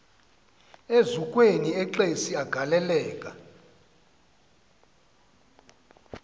eziukweni exesi agaleleka